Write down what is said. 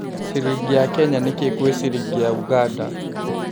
ciringi ya Kenya nĩ kĩĩ gwĩ ciringi ya Uganda